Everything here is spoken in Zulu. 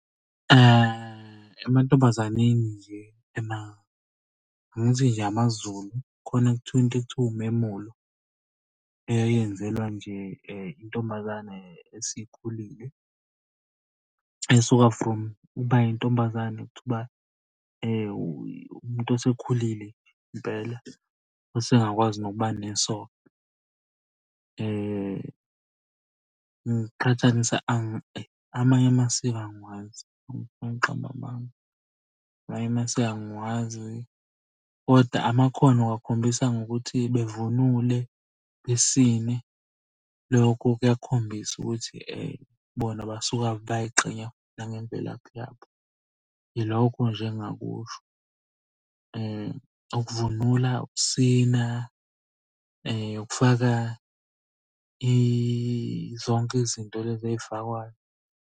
Emantombazaneni nje angithi nje amaZulu khona kuthiwa into ekuthiwa umemulo eyenzelwa nje intombazane esikhulile. Esuka from ukuba intombazane to ukuba umuntu osekhulile impela osengakwazi nokuba nesoka. Ngiqhathanisa amanye amasiko angiwazi ngabe ngiqamba amanga. Amanye amasiko angiwazi koda amakhono uwakhombisa ngokuthi bevunule, besine. Lokho kuyakhombisa ukuthi bona basuka bayay'qhenya futhi nangemvelaphi yabo. Ilokho nje engingakusho, ukuvunula, ukusina, ukufaka zonke izinto lezi ey'fakwayo.